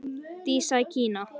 Dísa í Kína.